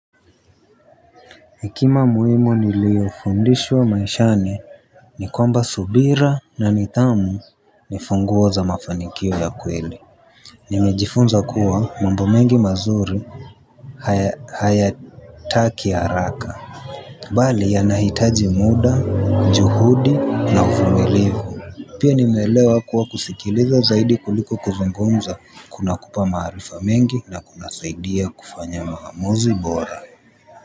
Hekima muhimu niliyofundishwa maishani ni kwamba subira na nidhamu ni funguo za mafanikio ya kweli. Nimejifunza kuwa mambo mengi mazuri hayataki haraka. Bali yanahitaji muda, juhudi na uvumilivu. Pia nimeelewa kuwa kusikiliza zaidi kuliko kuzungumza kunakupa maarifa mengi na kunasaidia kufanya maamuzi bora.